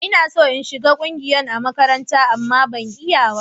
Ina so in shiga ƙungiyan a makarantar, amma ban iya ba.